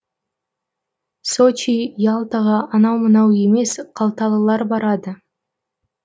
сочи ялтаға анау мынау емес қалталылар барады